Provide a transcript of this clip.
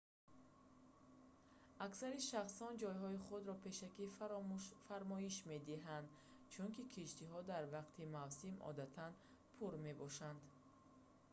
аксари шахсон ҷойҳои худро пешакӣ фармоиш медиҳанд чунки киштиҳо дар вақти мавсим одатан пур мебошанд